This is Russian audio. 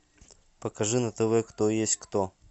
покажи на тв кто есть кто